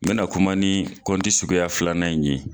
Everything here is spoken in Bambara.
N bɛ na kuma ni suguya filanan in ye